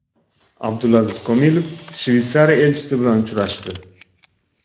Abdulaziz Komilov Shveysariya elchisi bilan uchrashdi.